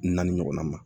Naani ɲɔgɔnna ma